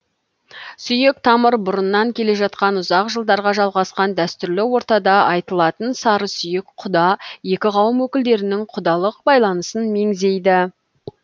сүйек тамыр бұрыннан келе жатқан ұзақ жылдарға жалғасқан дәстүрлі ортада айтылатын сарысүйек құда екі қауым өкілдерінің құдалық байланысын меңзейді